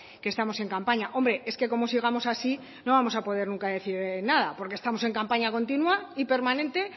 que estamos en campaña hombre es que como sigamos así no vamos a poder nunca decir nada porque estamos en campaña continua y permanente